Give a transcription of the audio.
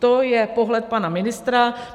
To je pohled pana ministra.